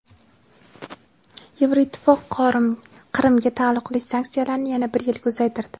Yevroittifoq Qrimga taalluqli sanksiyalarni yana bir yilga uzaytirdi.